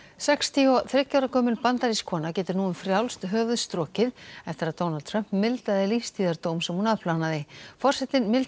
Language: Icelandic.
sextíu og þriggja ára gömul bandarísk kona getur nú um frjálst höfuð strokið eftir að Donald Trump mildaði sem hún afplánaði forsetinn mildaði